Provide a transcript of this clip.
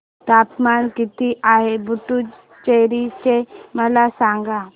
तापमान किती आहे पुडुचेरी चे मला सांगा